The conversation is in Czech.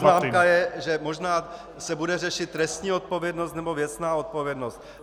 Faktická poznámka je, že možná se bude řešit trestní odpovědnost nebo věcná odpovědnost.